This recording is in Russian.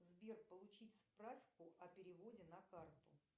сбер получить справку о переводе на карту